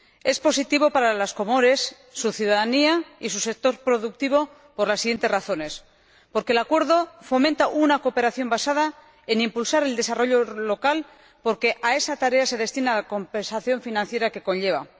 Es positivo para las Comoras, su ciudadanía y su sector productivo, por las siguientes razones en primer lugar, porque el acuerdo fomenta una cooperación basada en impulsar el desarrollo local, porque a esa tarea se destina la compensación financiera que conlleva